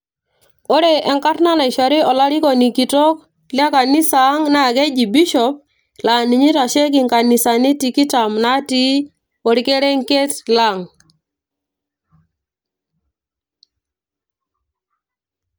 ore enkarna naishori olarikoni kitok le kanisa ang naa keji Bishop laa ninye oitasheki inkanisani tikitam natii orkerenget lang.